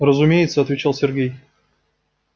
разумеется отвечал сергей